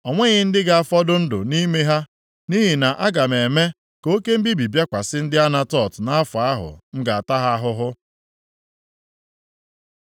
O nweghị ndị ga-afọdụ ndụ nʼime ha nʼihi na a ga-eme ka oke mbibi bịakwasị ndị Anatot nʼafọ ahụ m ga-ata ha ahụhụ.”